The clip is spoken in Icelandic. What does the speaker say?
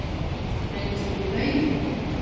Breytast ekki lögin?